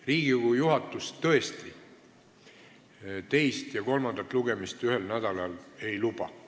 Riigikogu juhatus tavaliselt tõesti teist ja kolmandat lugemist ühel nädalal ei luba.